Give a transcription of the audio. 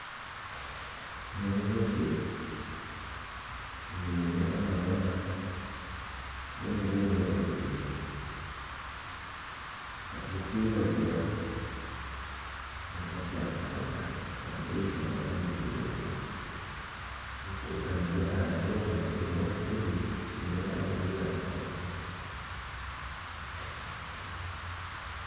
N'enjoki ziine amabara g'emiringo ebiri ag'okwiragura nana agakitaka, amaisho nago nigaragura zitekamire aha kyoma kirimu obuturi, kyine erangi ya kitaka